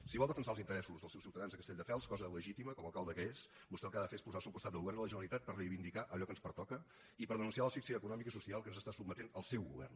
si vol defensar els interessos dels seus ciutadans de castelldefels cosa legítima com a alcalde que és vostè el que ha de fer és posar se al costat del govern de la generalitat per reivindicar allò que ens pertoca i per denunciar l’asfíxia econòmica i social a què ens sotmet el seu govern